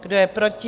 Kdo je proti?